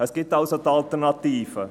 Es gibt also die Alternativen.